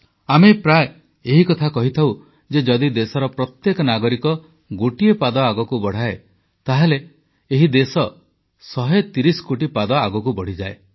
ଆମେ ପ୍ରାୟ ଏ କଥା କହିଥାଉ ଯେ ପ୍ରତ୍ୟେକ ନାଗରିକ ଗୋଟିଏ ପାଦ ଆଗକୁ ବଢା଼ଇଲେ ଦେଶର 130 କୋଟି ପାଦ ଆଗକୁ ବଢ଼ିଥାଏ